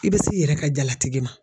I bɛ s' ki yɛrɛ ka jalatigi ma.